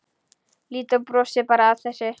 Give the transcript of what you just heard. Lídó brosir bara að þessu.